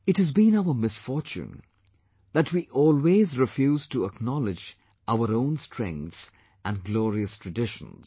It has been our misfortune that we always refuse to acknowledge our own strengths and glorious traditions